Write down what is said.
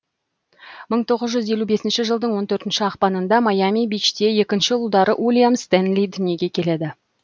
мың тоғыз жүз елу бесінші жылдың он төртінші ақпаныңда майами бичте екінші ұлдары уильям стэнли дүниеге келеді